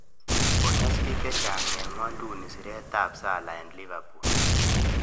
Konyas pik chechang en ngwonduni siret ap salah e Liverpool.